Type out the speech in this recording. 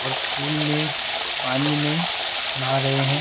और पूल में पानी में नहा रहे हैं।